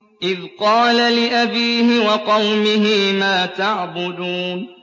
إِذْ قَالَ لِأَبِيهِ وَقَوْمِهِ مَا تَعْبُدُونَ